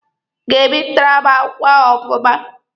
Ị ga-ebipụtara m akwụkwọ ahụ ọfụma?